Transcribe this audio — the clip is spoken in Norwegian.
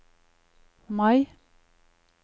Mai